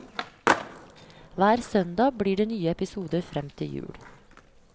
Hver søndag blir det nye episoder frem til jul.